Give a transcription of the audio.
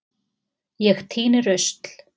Ég tíni rusl.